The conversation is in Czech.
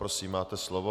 Prosím, máte slovo.